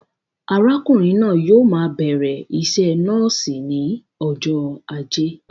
Arákùnrin náà yóò maa bẹ̀rẹ̀ iṣẹ nọ́ọ̀sì ní ọjọ ajé